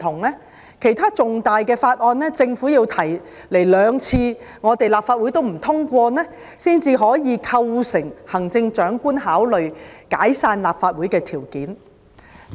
就其他重大法案，如果政府向立法會提交兩次也不獲通過，方可構成行政長官考慮解散立法會的條件。